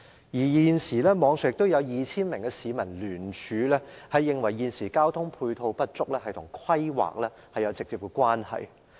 現時，網上已有 2,000 名市民聯署，指出現時的交通配套不足是與規劃有直接關係。